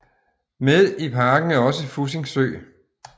Med i parken er også Fussing Sø